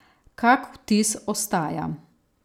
Kak vtis ostaja?